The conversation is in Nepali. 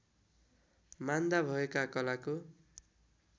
मान्दा भएका कलाको